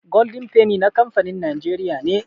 Golden penny na kamfanin Najeriya ne